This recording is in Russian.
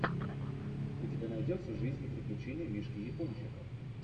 у тебя найдется жизнь и приключения мишки япончика